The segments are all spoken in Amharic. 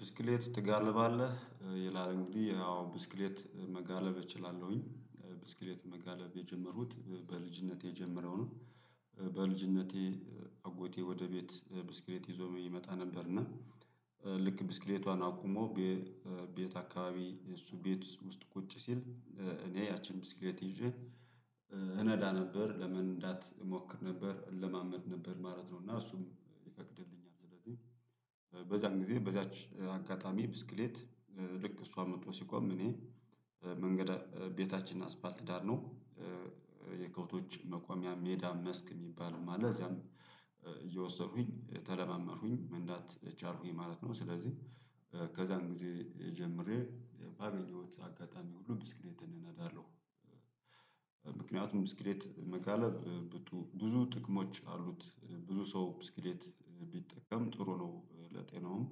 ብስክሌት ትጋልባለህ ይላል እንግዲህ አዎ ብስክሌት መጋለብ እችላለሁኝ ብስክሌት መጋለብ የጀመሩት በልጅነቴ የጀመረው ነው። በልጅነቴ አጎቴ ወደ ቤት ብስክሌት ይዞ ይመጣ ነበር። እና ልክ ብስክሌቷን አቁሞ ቤት አካባቢ የእሱ ቤት ውስጥ ቁጭ ሲል እኔ ያቺን ብስክሌት ይዤ እነዳ ነበር ለምን እሞክር ነበር እለማመድ ነበር ማለት ነው። እና እሱም ይፈቅድልኛል ስለዚህ በዛን ጊዜ በዛች አጋጣሚ ብስክሌት ልክ እሷ መጥቶ ሲቆም እኔ መንገድ ቤታችን አስፋልት ዳር ነው። የከብቶች መቆሚያ ሜዳ መስክ የሚባል ማለት እዚያም እየወሰዱኝ ተለማመድኩኝ መንዳት ቻልኩኝ ማለት ነው። ስለዚህ ከዛን ጊዜ ጀምሬ ባገኘሁት አጋጣሚ ሁሉ ብስክሌት እናዳለሁ። ምክንያቱም ብስክሌት መጋለብ ብዙ ጥቅሞች አሉት ብዙ ሰው ብስክሌት ቢጠቀም ጥሩ ነው። ለጤናውም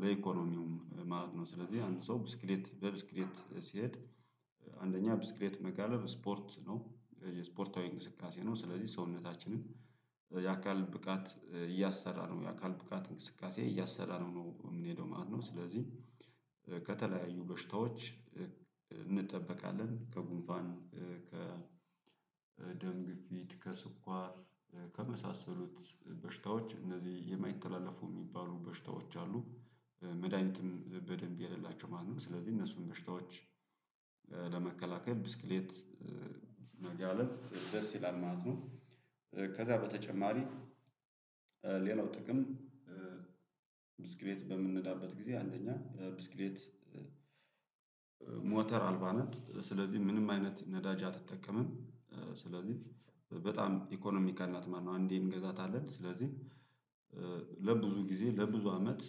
ለኢኮኖሚውም ማለት ነው። ስለዚህ አንድ ሰው ብስክሌት በብስክሌት ሲሄድ። አንደኛ ብስክሌት መጋለብ ስፖርት ነው የስፖርታዊ እንቅስቃሴ ነው ስለዚህ ሰውነታችንን የአካል ብቃት እያሰራ ነው የአካል ብቃት እንቅስቃሴ እያሰራ ነው የምንሄደው ማለት ነው። ስለዚህ ከተለያዩ በሽታዎች እንጠብቃለን ከጉንፋን ከ ደም ግፊት ከስኳር ከመሳሰሉት በሽታዎች እነዚህ የማይተላለፈው የሚባሉ በሽታዎች አሉ። መድሃኒትም በደንብ የሌላቸው ማለት ነው። ስለዚህ እነሱን በሽታዎች ለመከላከል ብስክሌት መጋለብ ደስ ይላል ማለት ነው። ከዛ በተጨማሪ ሌላው ጥቅም ብስክሌት በምንነዳበት ጊዜ አንደኛ ብስክሌት ሞተር አልባነት ስለዚህ ምንም አይነት ነዳጅ አትጠቀምም። ስለዚህ በጣም ኢኮኖሚካል ናት ማነው አንዴን እንገዛታለን ስለዚህ ለብዙ ጊዜ ለብዙ አመት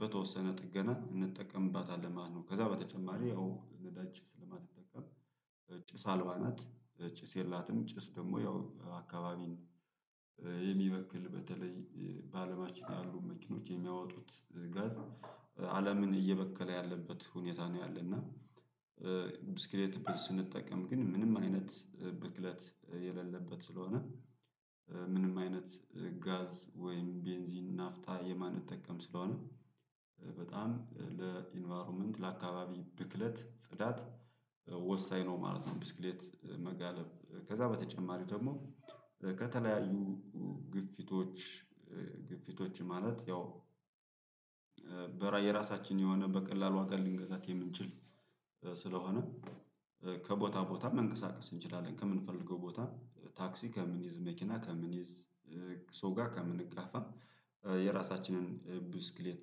በተወሰነ ጥገና እንጠቀምባታለን ማለት ነው። ከዛ በተጨማሪ አዎ ነዳጅ ስለማትጠቀም ጭሳ አልባ ናት ጭስ የላትም። ጭስ ደግሞ ያው አካባቢን የሚበክል በተለይ በአለማችን ያሉ መኪኖች የሚያወጡት ጋዝ አለምን እየበከለ ያለበት ሁኔታ ነው። ያለና ብስክሌት ስንጠቀም ግን ምንም አይነት ብክለት የሌለበት ስለሆነ። ምንም አይነት ጋዝ ወይም ቤንዚን ናፍታ የማንጠቀም ስለሆነ። በጣም ለኢንቫይሮመንት ለአካባቢ ብክለት ጽዳት ወሳኝ ነው ማለት ነው። ብስክሌት መጋለብ ከዛ በተጨማሪው ደግሞ ከተለያዩ ግፊቶች ግፊቶች ማለት ያው በራ የራሳችን የሆነ በቀላሉ ዋጋ ልንገዛት የምንችል ስለሆነ ከቦታ ቦታ መንቀሳቀስ እንችላለን ከምንፈልገው ቦታ ታክሲ ከምንይዝ መኪና ከምንይዝ ሰው ጋ ከምንጋፋ የራሳችንን ብስክሌት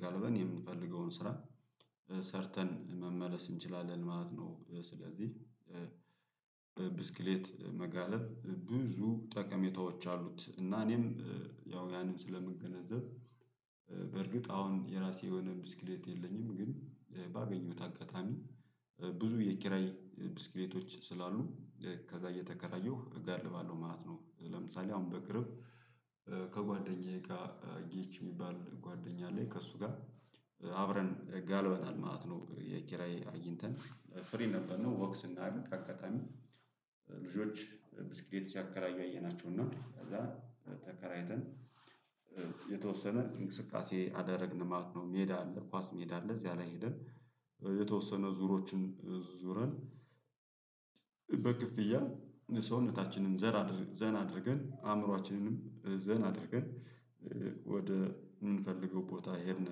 ጋልበን የምንፈልገውን ስራ ሰርተን መመለስ እንችላለን ማለት ነው። ስለዚህ ብስክሌት መጋለብ ብዙ ጠቀሜታዎች አሉት። እና እኔም ያው ያንን ስለምገነዘብ በርግጥ አሁን የራሴ የሆነ ድስክሌት የለኝም ግን ባገኘሁት አጋጣሚ ብዙ የኪራይ ብስክሌቶች ስላሉ ከዛ እየተከራየሁ እጋልባለሁ ማለት ነው። ለምሳሌ አሁን በቅርብ ከጓደኛዬ ጋር ጌች የሚባል ጓደኛ ላይ ከእሱ ጋር አብረን እጋልበናል ማለት ነው። የኪራይ አግኝተን ፍሬን ነበርነው ወክ ስናደርግ አቀጣሚ አካባቢ ልጆች ብስክሌት ሲያከራዩ አየናቸው እና ከዛ ተከራይተን የተወሰነ እንቅስቃሴ አደረግን ማት ነው። ሜዳ አለ ኳስ ሜዳ አለ እዚያ ላይ ሄደን የተወሰነ ዙሮችን ዙረን በክፍያ ሰውነታችንን ዘር ዘና አድርገን አእምሮአችንንም ዘን አድርገን ወደ የምንፈልገው ቦታ ሄድን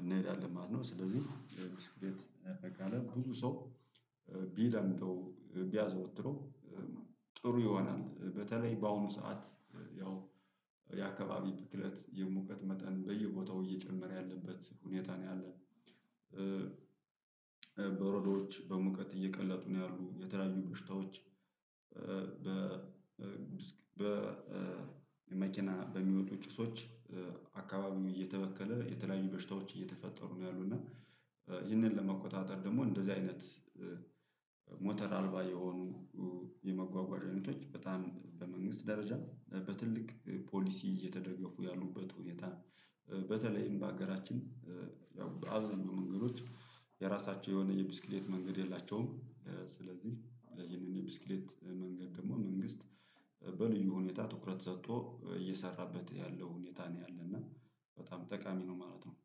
እንሄዳለን ማለት ነው። ስለዚህ ብዙ ሰው ቢለምጠው ቢያዘወትረው ጥሩ ይሆናል። በተለይ በአሁኑ ሰዓት ያው የአካባቢ ትክክለት የሙቀት መጠን በየቦታው እየጨመረ ያለበት ሁኔታ ነው ያለን። በወረዶች በሙቀት እየቀለጡ ነው ያሉት የተለያዩ በሽታዎች በ በ በመኪና በሚወጡ ጭሶች አካባቢውን እየተበከለ የተለያዩ በሽታዎች እየተፈጠሩ ነው ያሉት። እና ይህንን ለመቆጣጠር ደግሞ እንደዚህ አይነት ሞተር አልባ የሆኑ የመጓጓዣው አይነቶች በጣም በመንግስት ደረጃ በትልቅ ፖሊሲ እየተደገፉ ያሉበት ሁኔታ። በተለይም በሀገራችን ያው በአብዛኛው መንገዶች የራሳቸው የሆነ የብስክሌት መንገድ የላቸውም። ስለዚህ ይህንን የብስክሌት መንገድ ደግሞ መንግስት በልዩ ሁኔታ ትኩረት ሰጥቶ እየሰራበት ያለው ሁኔታ ነው። ያለና በጣም ጠቃሚ ነው ማለት ነው።